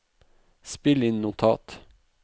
spill inn notat